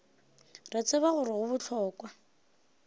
re tseba gore go bohlokwa